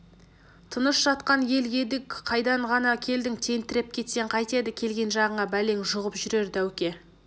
тыныш жатқан ел едік қайдан ғана келдің тентіреп кетсең қайтеді келген жағыңа бәлең жұғып жүрер дәуке